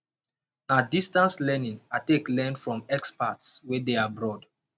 na distance learning i take learn from experts wey dey abroad